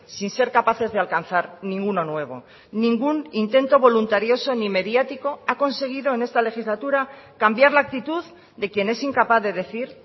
sin ser capaces de alcanzar ninguno nuevo ningún intento voluntarioso ni mediático ha conseguido en esta legislatura cambiar la actitud de quien es incapaz de decir